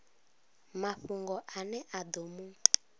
mafhungo ane a ḓo mu